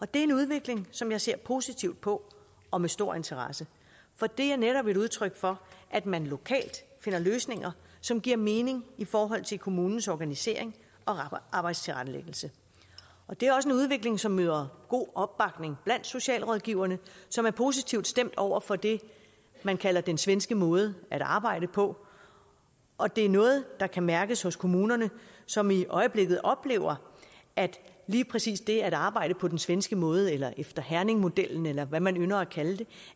det er en udvikling som jeg ser positivt på og med stor interesse for det er netop et udtryk for at man lokalt finder løsninger som giver mening i forhold til kommunens organisering og arbejdstilrettelæggelse det er også en udvikling som møder god opbakning blandt socialrådgiverne som er positivt stemt over for det man kalder den svenske måde at arbejde på og det er noget der kan mærkes hos kommunerne som i øjeblikket oplever at lige præcis det at arbejde på den svenske måde eller efter herningmodellen eller hvad man ynder at kalde